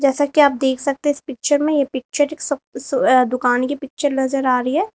जैसा कि आप देख सकते इस पिक्चर में ये पिक्चर एक सप्त सो अ दुकान की पिक्चर नजर आ रही है।